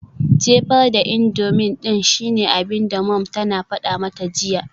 Jefa da indomie din shine abinda mom tana fada mata jiya.